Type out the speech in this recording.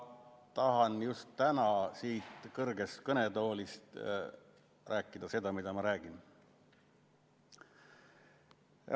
Ma tahan just täna siit kõrgest kõnetoolist rääkida seda, mida ma räägin.